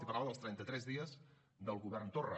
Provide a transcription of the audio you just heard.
i parlava dels trenta tres dies del govern torra